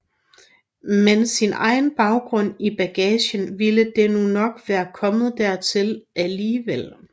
Men med sin egen baggrund i bagagen ville det nu nok være kommet dertil alligevel